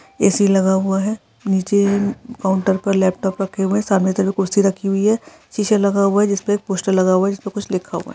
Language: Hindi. एसी लगा हुआ है नीचे काउंटर पर लैपटॉप रखा हुआ है सामने तरफ कुर्सी रखी हुई हैं शीशे लगा हुआ है जिस पर एक पोस्टर है जिस पर कुछ लिखा हुआ है।